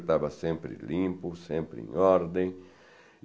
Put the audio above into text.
Estava sempre limpo, sempre em ordem.